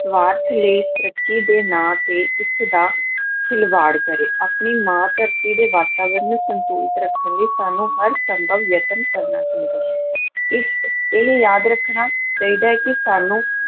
ਸਵਾਰਥ ਲਈ, ਤਰੱਕੀ ਦੇ ਨਾਂ 'ਤੇ ਇਸ ਦਾ ਖਿਲਵਾੜ ਕਰੇ, ਆਪਣੀ ਮਾਂ ਧਰਤੀ ਦੇ ਵਾਤਾਵਰਨ ਨੂੰ ਸੰਤੁਲਿਤ ਰੱਖਣ ਲਈ ਸਾਨੂੰ ਹਰ ਸੰਭਵ ਯਤਨ ਕਰਨਾ ਚਾਹੀਦਾ ਹੈ, ਇਸ ਇਹਨੂੰ ਯਾਦ ਰੱਖਣਾ ਚਾਹੀਦਾ ਹੈ ਕਿ ਸਾਨੂੰ